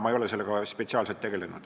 Ma ei ole selle teemaga spetsiaalselt tegelenud.